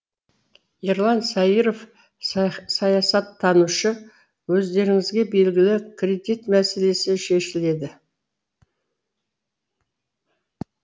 ерлан сайыров саясаттанушы өздеріңізге белгілі кредит мәселесі шешіледі